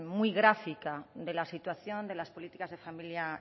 muy gráfica de la situación de las políticas de familia